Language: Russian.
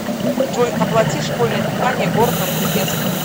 джой оплати школьное питание город новокузнецк